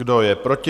Kdo je proti?